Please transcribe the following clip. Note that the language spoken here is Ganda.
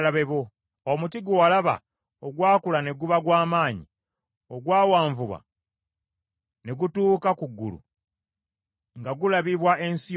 Omuti gwe walaba, ogwakula ne guba gwa maanyi, ogwawanvuwa ne gutuuka ku ggulu, nga gulabibwa ensi yonna,